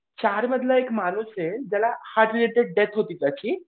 चार मधला एक माणूस आहे ज्याला हार्ट अटॅक ने डेथ होती त्याची.